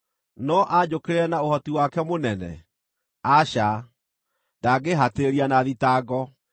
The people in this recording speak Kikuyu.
No anjũkĩrĩre na ũhoti wake mũnene? Aca, ndangĩhatĩrĩria na thitango.